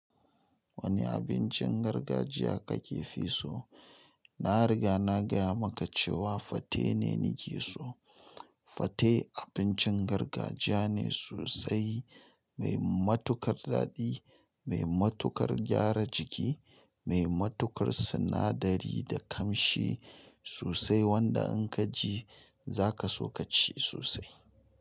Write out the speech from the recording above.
Wani abincin gargajiya kake fi so? Na riga na gaya maka cewa fate ne ni ke so. Fate abincin gargajiya ne sosai, mai matukar daɗi, mai matukar gyara jiki, mai matukar sinadari da ƙamshi sosai wanda in ka ji za ka so ka ci sosai.